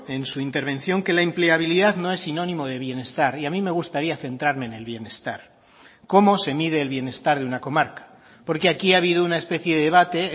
en su intervención que la empleabilidad no es sinónimo de bienestar y a mí me gustaría centrarme en el bienestar cómo se mide el bienestar de una comarca porque aquí ha habido una especie de debate